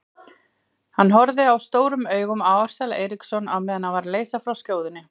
Hann horfði stórum augum á Ársæl Eiríksson meðan hann var að leysa frá skjóðunni.